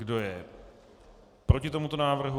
Kdo je proti tomuto návrhu?